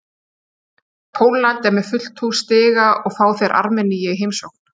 Pólland er með fullt hús stiga og fá þeir Armeníu í heimsókn.